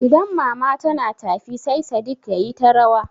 Idan mama tana tafi sai Sadik yayi ta rawa.